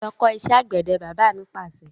Lọ kọ́ ìṣẹ́ àgbẹ̀dẹ! Bàbá mi Pàṣẹ.